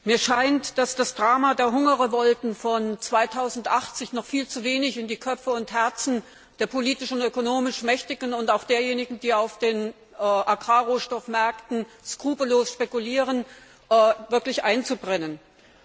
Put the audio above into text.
Mir scheint, dass sich das Drama der Hungerrevolten von 2008 noch viel zu wenig in die Köpfe und Herzen der politisch und ökonomisch Mächtigen und auch derjenigen, die auf den Agrarrohstoffmärkten skrupellos spekulieren, eingebrannt hat.